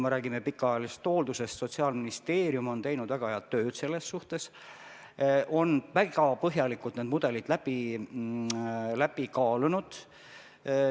Sotsiaalministeerium on sellega seoses teinud väga head tööd, ta on need mudelid väga põhjalikult läbi kaalunud.